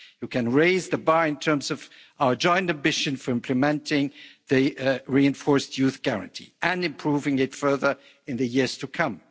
You can raise the bar in terms of our joint ambition for implementing the reinforced Youth Guarantee and improving it further in the years to come.